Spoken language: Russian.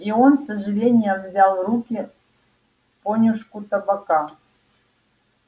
и он с сожалением взял в руки понюшку табака